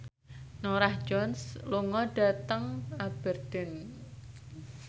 Norah Jones lunga dhateng Aberdeen